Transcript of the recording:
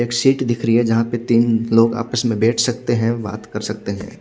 एक शीट दिख रही है जहा तीन लोग आपस में बेठ सकते है बात क़र सकते है।